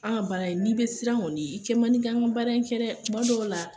An ka baara in n'i be siran kɔni i kɛ man di k'an ka baara in kɛ dɛ, tuma dɔw la